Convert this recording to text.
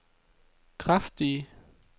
kraftige